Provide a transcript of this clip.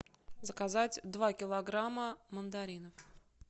заказать два килограмма мандаринов